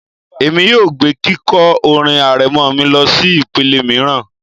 Èmi yóò gbé kíkọ orin arẹmọ mi lọsí ìpele mìíràn